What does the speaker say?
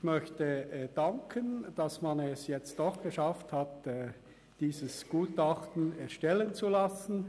Ich möchte dafür danken, dass man es jetzt doch geschafft hat, dieses Gutachten erstellen zu lassen.